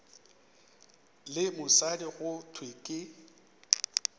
le mosadi go thwe ke